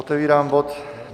Otevírám bod